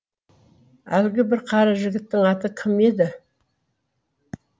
әлгі бір қара жігіттің аты кім еді